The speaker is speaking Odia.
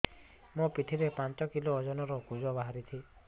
ମୋ ପିଠି ରେ ପାଞ୍ଚ କିଲୋ ଓଜନ ର କୁଜ ବାହାରିଛି